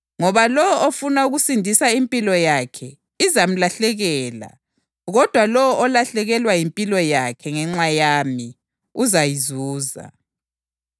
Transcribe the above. Kuzamsiza ngani umuntu ukuzuza wonke umhlaba kodwa alahlekelwe ngumphefumulo wakhe na? Kambe umuntu angaphani esikhundleni sempilo yakhe na?